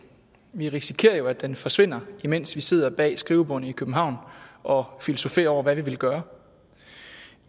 vi risikerer jo at den forsvinder imens vi sidder bag skrivebordene i københavn og filosoferer over hvad vi vil gøre